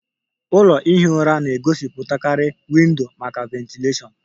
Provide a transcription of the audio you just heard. Ụlọ ihi ụra na-egosipụtakarị windo maka ventilashion